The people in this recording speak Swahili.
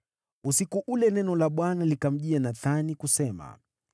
Usiku ule neno la Bwana likamjia Nathani, kusema: